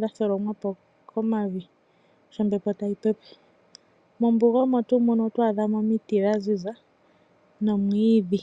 dha thilomwa po komavi sho ombepo tayi pepe. Mombuga omo tuu muno oho vulu oku adha mo omiti dha ziza nomwiidhi.